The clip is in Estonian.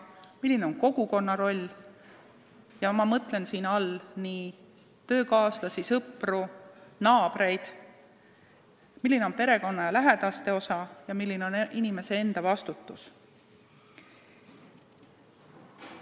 Tuleb arutada, milline on kogukonna roll – ma mõtlen siin töökaaslasi, sõpru, naabreid –, milline on perekonna ja lähedaste osa ning milline on inimese enda vastutus.